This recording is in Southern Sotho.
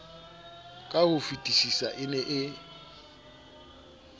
ka hofetisisa e ne e